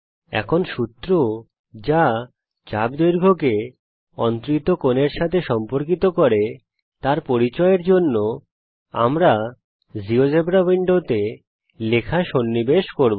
এখন সূত্র যা চাপ দৈর্ঘ্যকে অন্তরিত কোণের সাথে সম্পর্কিত করে তার পরিচয়ের জন্যে আমরা জীয়োজেব্রা উইন্ডোতে লেখা সন্নিবেশ করব